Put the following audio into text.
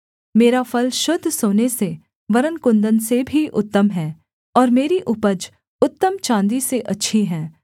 मेरा फल शुद्ध सोने से वरन् कुन्दन से भी उत्तम है और मेरी उपज उत्तम चाँदी से अच्छी है